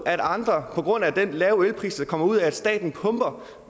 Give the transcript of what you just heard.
at andre på grund af den lave elpris der kommer ud af at staten pumper